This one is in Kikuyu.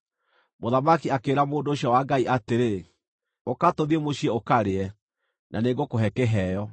Mũthamaki akĩĩra mũndũ ũcio wa Ngai atĩrĩ, “Ũka tũthiĩ mũciĩ ũkarĩe, na nĩngũkũhe kĩheo.”